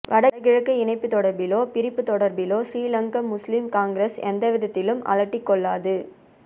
வடக்கு கிழக்கு இணைப்பு தொடர்பிலோ பிரிப்பு தொடர்பிலோ ஸ்ரீலங்கா முஸ்லிம் காங்கிரஸ் எந்தவிதத்திலும் அலட்டிக்கொள்ளாது